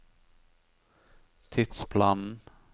tidsplanen